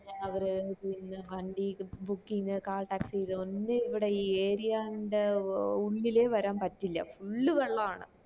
രാവിലെ ആയപ്പോ വണ്ടി booking call taxi ഇതൊന്നു ഇവിടെ ഈ area ന്റെ ഉ ഉള്ളില് വരൻ പറ്റിയുള്ള full വെള്ളം ആണ്